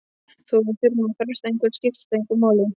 Þó við þurfum að fresta einhverju skiptir það engu máli.